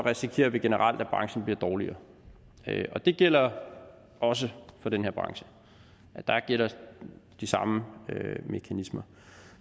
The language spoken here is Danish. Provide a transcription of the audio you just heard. risikerer vi generelt at branchen bliver dårligere og det gælder også for den her branche der gælder de samme mekanismer